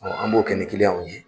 Ɔ an b'o kɛ kilianw ye.